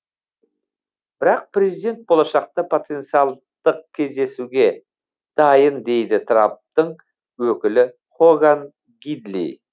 бірақ президент болашақта потенциалдық кездесуге дайын дейді трамптың өкілі хоган гидли